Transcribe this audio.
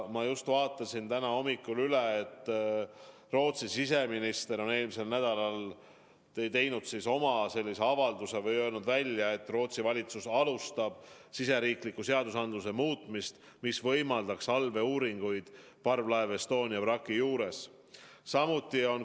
Ma just vaatasin täna hommikul üle, Rootsi siseminister on eelmisel nädalal teinud sellise avalduse või öelnud välja, et Rootsi valitsus alustab riigisisese seaduse muutmist, mis võimaldaks allveeuuringuid parvlaeva Estonia vraki juures.